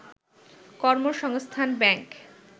কর্মসংস্থান ব্যাংক